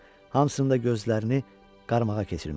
Hamısında gözlərini qarmağa keçirmişdi.